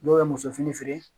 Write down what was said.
N'o ye muso fini feere